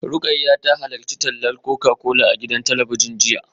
Rukayyah ta halarci tallar Coca-Cola a gidan talabijin jiya